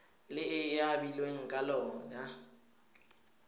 le e abilweng ka lona